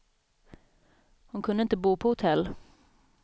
Hon kunde inte bo på hotell.